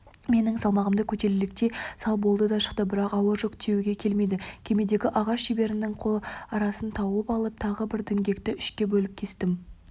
менің салмағымды көтерерліктей сал болды да шықты бірақ ауыр жүк тиеуге келмейді кемедегі ағаш шеберінің қол арасын тауып алып тағы бір діңгекті үшке бөліп кестім